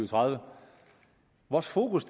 tredive vores fokus